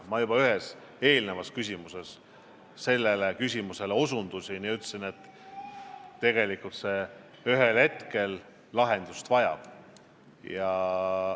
Ma juba ühele eelmisele küsimusele vastates sellele osutasin ja ütlesin, et ühel hetkel see probleem lahendust vajab.